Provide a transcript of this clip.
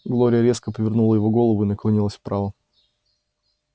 глория резко повернула его голову и наклонилась вправо